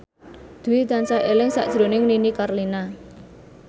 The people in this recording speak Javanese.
Dwi tansah eling sakjroning Nini Carlina